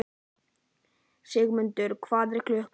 Sigurmundur, hvað er klukkan?